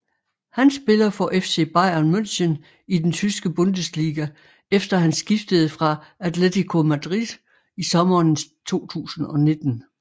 Han spiller for FC Bayern München i den Tyske Bundesliga efter han skiftede fra Atletico Madrid i sommeren 2019